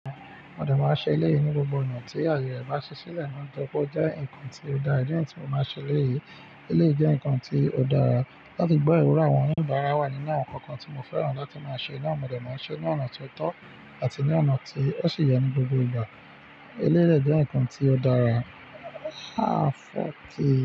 Mode máa ṣe eléyìí ní gbogbo ọ̀nà tí àyè rẹ̀ bá ṣe sílẹ̀, nitori pé ó jẹ́ nǹkan tí ó dára nìyẹn tí mo máa ṣe eléyìí, eléyìí jẹ́ ǹkan tí ó dára. Láti gbọ́ ìrora àwọn oníbàárà wà nínú àwọn ǹkan kan tí mo fẹ́ràn láti máa ṣe, ná mọde máa ń ṣe ní ọ̀nà tó tọ́ àti ní ọ̀nà tí ó ṣe yẹ ní gbogbo ìgbà. Eléyìí jẹ́ ǹkan tí ó dára. Háàfúù ti.